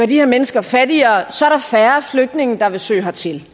de her mennesker fattigere så er der færre flygtninge der vil søge hertil